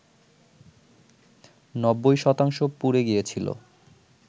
৯০ শতাংশ পুড়ে গিয়েছিল